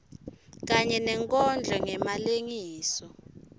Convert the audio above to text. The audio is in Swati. kanye nenkondlo ngemalengiso